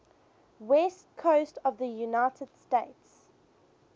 west coast of the united states